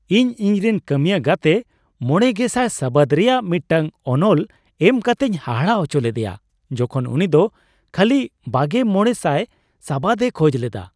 ᱤᱧ ᱤᱧᱨᱮᱱ ᱠᱟᱹᱢᱤᱭᱟ ᱜᱟᱛᱮ ᱕᱐᱐᱐ ᱥᱟᱵᱟᱫ ᱨᱮᱭᱟᱜ ᱢᱤᱫᱴᱟᱝ ᱚᱱᱚᱞ ᱮᱢ ᱠᱟᱛᱮᱧ ᱦᱟᱦᱟᱲᱟᱜ ᱦᱚᱪᱚ ᱞᱮᱫᱮᱭᱟ ᱡᱚᱠᱷᱚᱱ ᱩᱱᱤᱫᱚ ᱠᱷᱟᱹᱞᱤ ᱒᱕᱐᱐ ᱥᱟᱵᱟᱫ ᱮ ᱠᱷᱚᱡ ᱞᱮᱫᱟ ᱾